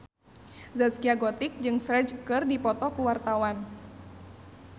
Zaskia Gotik jeung Ferdge keur dipoto ku wartawan